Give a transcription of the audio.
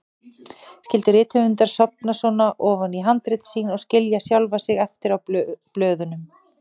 Skyldu rithöfundar sofna svona ofan í handrit sín og skilja sjálfa sig eftir á blöðunum?